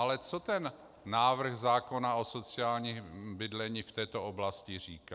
Ale co ten návrh zákona o sociálním bydlení v této oblasti říká.